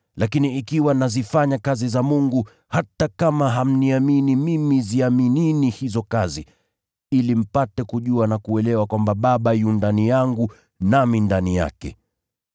lakini ikiwa nazifanya kazi za Mungu, hata kama hamniamini mimi ziaminini hizo kazi, ili mpate kujua na kuelewa kwamba Baba yu ndani yangu, nami ndani yake.”